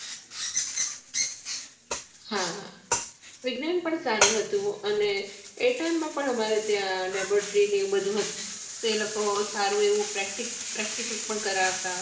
હા વિજ્ઞાન પણ સારું હતું અને એ time મા પણ અમારે ત્યાં laboratory ને આવું બધું હતું તે લોકો સારું એવું practical પણ કરાવતા